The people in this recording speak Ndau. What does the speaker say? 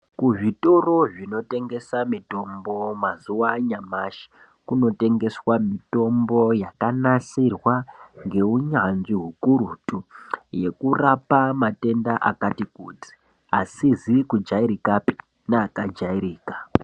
Kuzvitoro zvinotengesa mitombo mazuva anyamashi, kunotengeswa mitombo yakanasirwa ngeunyanzvi hukurutu, yekurapa matenda akati kuti asizi kujairikapi neakajairika.